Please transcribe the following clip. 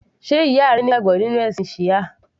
Sé ìyá rẹ ní ìgbàgbọ́ nínú ẹ̀sìn Shia?